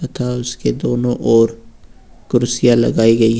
तथा उसके दोनों ओर कुर्सियां लगाई गई हैं।